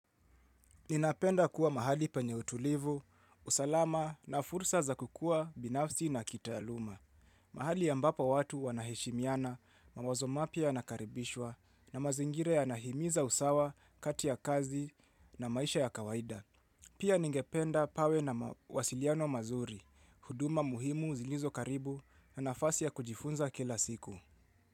Ninapenda kuwa mahali penye utulivu, usalama na fursa za kukua binafsi na kita aluma. Mahali ambapa watu wanahishimiana mawazo mapya anakaribishwa na mazingira ya nahimiza usawa kati ya kazi na maisha ya kawaida. Pia ningependa pawe na wasiliano mazuri, huduma muhimu zilizokaribu na nafasi ya kujifunza kila siku.